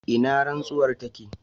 ina rantsuwar take?